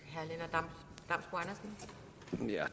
nej